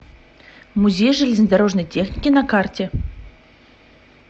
музей железнодорожной техники на карте